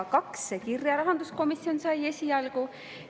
Kaks kirja rahanduskomisjon esialgu sai.